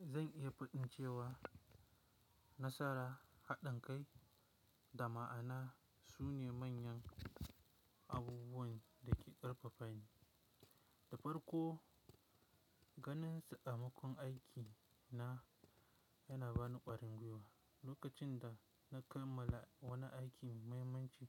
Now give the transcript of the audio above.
Zan iya faɗin cewa nasara, haɗin kai da ma'ana su ne manyan abubuwan da ke ƙarfafa ni. Da farko, ganin samakon aiki na yana ba ni ƙwarin gwuiwa. Lokacin da na kammala wani aiki mai muhimmanci